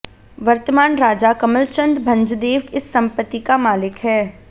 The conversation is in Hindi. वर्तमान राजा कमलचंद भंजदेव इस संपत्ति का मालिक है